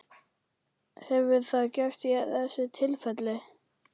Hefur það gerst í þessu tilfelli?